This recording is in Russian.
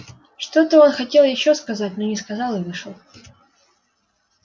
что-то он хотел ещё сказать но не сказал и вышел